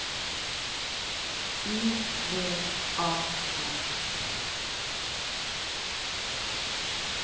U V A N T